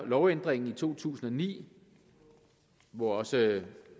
lovændringen i to tusind og ni hvor også